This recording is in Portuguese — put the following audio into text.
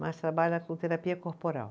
mas trabalha com terapia corporal.